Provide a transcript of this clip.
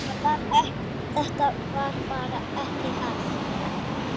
Það var bara ekki hægt.